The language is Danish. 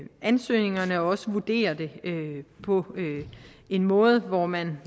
ansøgningerne og vurdere det på en måde hvor man